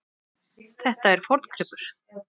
Þetta er forngripur.